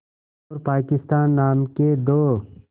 और पाकिस्तान नाम के दो